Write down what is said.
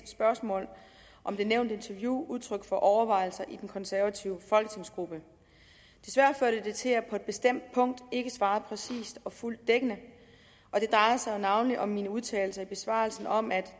spørgsmål om det nævnte interview udtryk for overvejelser i den konservative folketingsgruppe desværre førte det til at jeg på et bestemt punkt ikke svarede præcist og fuldt dækkende det drejer sig jo navnlig om mine udtalelser i besvarelsen om at